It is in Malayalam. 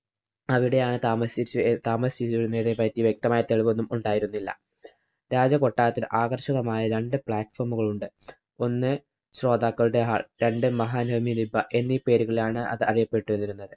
അവിടെയാണ് താമസിച്ചിരുന്നതിനെ പറ്റി വ്യക്തമായ തെളിവൊന്നും ഉണ്ടായിരുന്നില്ല. രാജകൊട്ടാരത്തില്‍ ആകര്‍ഷകമായ രണ്ടു platform ഉകള്‍ ഉണ്ട്. ഒന്ന് ശ്രോതാക്കളുടെ hall. രണ്ട് മഹാനവമി ദിബ്ബ എന്നീ പേരുകളിലാണ് അത് അറിയപ്പെട്ടിരുന്നത്.